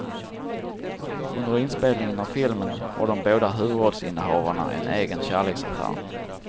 Under inspelningen av filmen har de båda huvudrollsinnehavarna en egen kärleksaffär.